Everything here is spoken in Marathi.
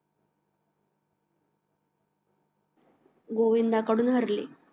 गोविंदा कडून हरले